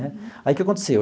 Né aí o que aconteceu?